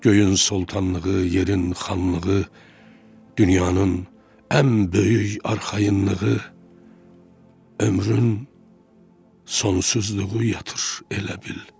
Göyün sultanlığı, yerin xanlığı, dünyanın ən böyük arxayınlığı, ömrün sonsuzluğu yatır elə bil.